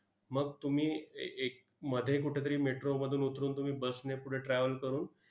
मग तुम्ही ए एक मध्ये कुठंतरी metro मधून उतरून तुम्ही bus ने पुढे travel करून